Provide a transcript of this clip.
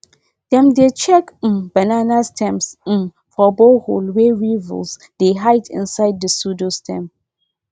dem dey check um banana stems um for boreholes wey weevils dey hide inside the pseudostem